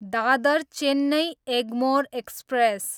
Dadar, Chennai Egmore express